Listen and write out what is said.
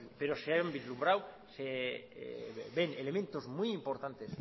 pero se han vislumbrado elementos muy importantes